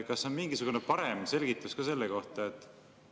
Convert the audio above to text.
Kas on mingisugune parem selgitus ka selle kohta?